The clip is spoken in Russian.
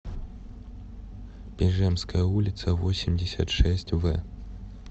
пижемская улица восемьдесят шесть в